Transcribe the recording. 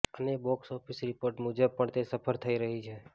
અને box office report મુજબ પણ તે સફર થઇ રહી છે